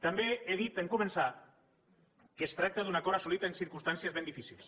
també he dit en començar que es tracta d’un acord assolit en circumstàncies ben difícils